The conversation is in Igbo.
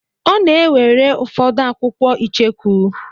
Ọ na-ewere ụfọdụ akwụkwọ icheku.